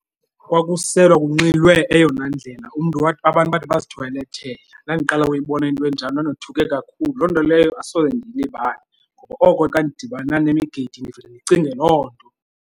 Kwakuselwa kunxilwe eyona ndlela. Umntu wade, abantu bade bazithoyilethela. Ndandiqala ukuyibona into enjalo ndandothuke kakhulu. Loo nto leyo asoze ndiyilibale ngoba oko xa ndidibana nemigidi ndivele ndicinge loo nto.